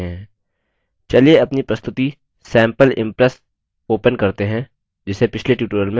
चलिए अपनी प्रस्तुति प्रेजैटेशन sample impress open करते हैं जिसे पिछले tutorial में बनाया था